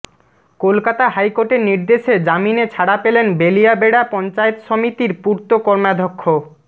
কলকাতা হাইকোর্টের নির্দেশে জামিনে ছাড়া পেলেন বেলিয়াবেড়া পঞ্চায়েত সমিতির পূর্ত কর্মাধ্যক্ষ